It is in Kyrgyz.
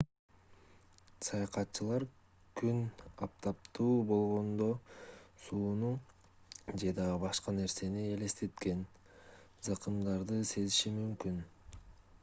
саякатчылар күн аптаптуу болгондо сууну же дагы башка нерсени элестеткен закымдарды сезиши мүмкүн